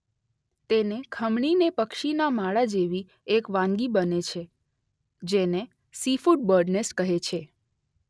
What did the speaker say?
તેને ખમણીને પક્ષીના માળા જેવી એક વાનગી બને છે જેને સીફુડ બર્ડનેસ્ટ કહે છે.